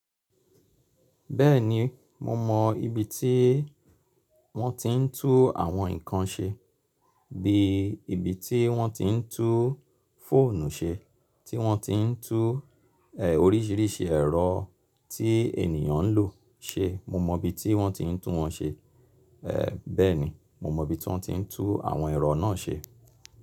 Bẹ́ẹ̀ni mo mọ ibi tí wọ́n ti ń tú àwọn nǹkan ṣe bí i ibi tí wọ́n ti ń tún fóònù ṣe, tí wọ́n ti ń tú, oríṣiríṣi ẹ̀rọ tí ènìyàn ń lò ṣe. Mo mọ ibi tí wọ́n ti ń tún wọn ṣe. Bẹ́ẹ̀ni mo mọ ibi tí wọ́n ti ń tún àwọn ẹ̀rọ náà ṣe.